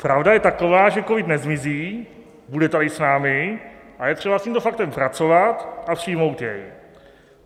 Pravda je taková, že covid nezmizí, bude tady s námi a je třeba s tímto faktem pracovat a přijmout jej.